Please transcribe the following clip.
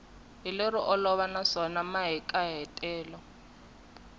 hi lero olova naswona mahikahatelo